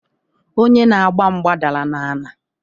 Onye na-agba mgba dara n'ana.